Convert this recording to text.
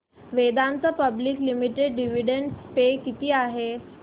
Vedanta public limited dividend pay किती आहे